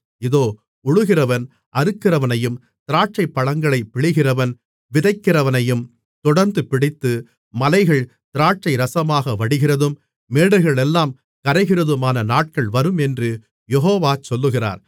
இதோ உழுகிறவன் அறுக்கிறவனையும் திராட்சைப்பழங்களை பிழிகிறவன் விதைக்கிறவனையும் தொடர்ந்துபிடித்து மலைகள் திராட்சைரசமாக வடிகிறதும் மேடுகளெல்லாம் கரைகிறதுமான நாட்கள் வரும் என்று யெகோவா சொல்லுகிறார்